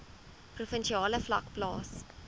provinsiale vlak plaas